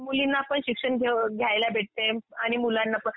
मुलींना पण शिक्षण घ्यायला भेटते आणि मुलांना पण